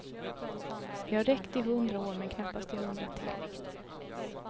Det har räckt i hundra år men knappast i hundra till.